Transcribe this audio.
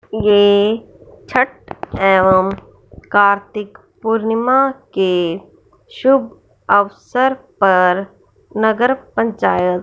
ये छठ एवं कार्तिक पूर्णिमा के शुभ अवसर पर नगर पंचायत--